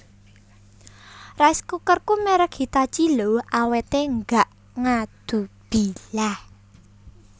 Rice cookerku merk Hitachi lho awete gak ngadubilah